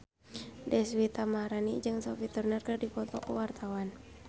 Deswita Maharani jeung Sophie Turner keur dipoto ku wartawan